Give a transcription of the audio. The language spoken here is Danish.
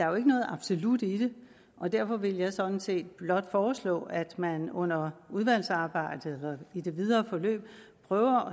jo ikke noget absolut i det og derfor vil jeg sådan set blot foreslå at man under udvalgsarbejdet og i det videre forløb prøver